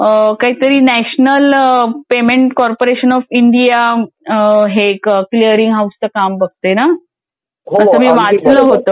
ते काहीतरी national payment corporation of India हे क्लिअरिंग हाऊसच काम बघते ना. असं मी वाचलं होतं कुठे.